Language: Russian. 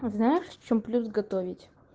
а знаешь в чём плюс готовить